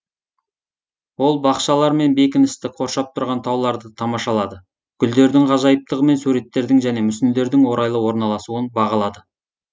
ол бақшалар мен бекіністі қоршап тұрған тауларды тамашалады гүлдердің ғажайыптығы мен суреттердің және мүсіндердің орайлы орналасуын бағалады